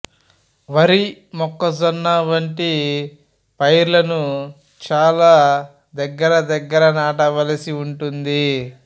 వరి మొక్కజొన్న వంటి పైర్లను చాలా దగ్గర దగ్గర నాటవలసి ఉంటుంది